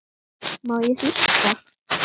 Má ég hlusta?